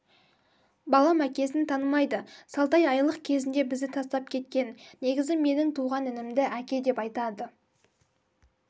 балам әкесін танымайды салтай айлық кезінде бізді тастап кеткен негізі менің туған інімді әке деп айтады